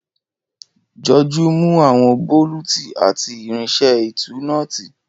Joju mu awọn boluti pẹlu irinṣẹ́ ìtú nọ́ọ̀tì.